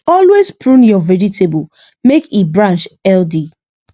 always prune your vegetable make e branch healthy